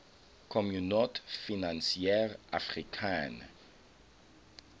communaute financiere africaine